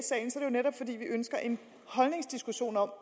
netop fordi vi ønsker en holdningsdiskussion om